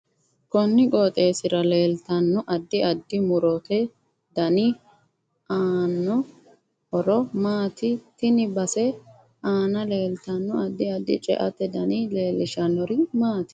Konni qooxeesira leeltano addi addi murote dani aano horo maati tini base aana leeltanno addi addi ce'ate dani leelishanori maati